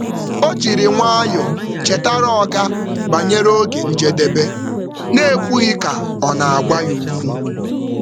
Ọ jiri nwayọọ chetara oga banyere oge njedebe n’ekwughị ka ọ na-agwa ya okwu.